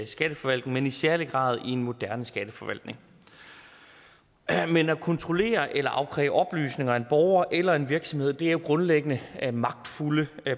skatteforvaltning men i særlig grad i en moderne skatteforvaltning men at kontrollere eller afkræve oplysninger af en borger eller en virksomhed er grundlæggende magtfulde